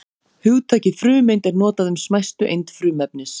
hugtakið frumeind er notað um smæstu eind frumefnis